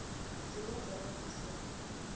dzine dza vha fhasi ha